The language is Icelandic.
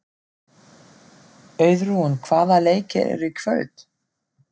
Auðrún, hvaða leikir eru í kvöld?